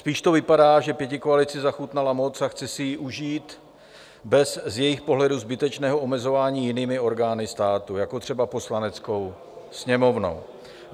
Spíš to vypadá, že pětikoalici zachutnala moc a chce si ji užít bez z jejich pohledu zbytečného omezování jinými orgány státu, jako třeba Poslaneckou sněmovnou.